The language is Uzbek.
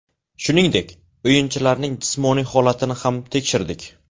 Shuningdek, o‘yinchilarning jismoniy holatini ham tekshirdik.